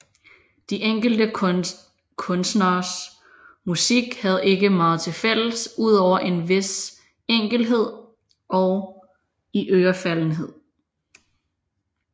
De enkelte kunstneres musik havde ikke meget til fælles udover en vis enkelhed og iørefaldenhed